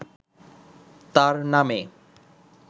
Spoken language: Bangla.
তার নামে